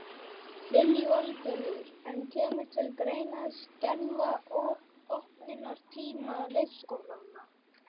Lillý Valgerður: En kemur til greina að skerða opnunartíma leikskólana?